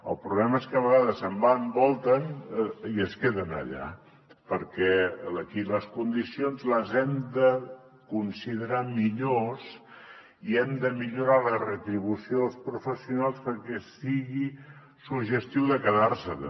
el problema és que a vegades se’n van volten i es queden allà perquè aquí les condicions les hem de considerar millor i hem de millorar la retribució dels professionals perquè sigui suggestiu de quedar se també